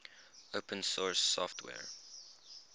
open source software